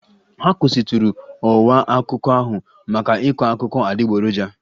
A kwụsịtụrụ ọwa akụkọ ahụ maka ịkọ akụkọ adịgboroja